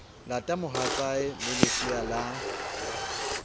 lata mohatsae le lesea la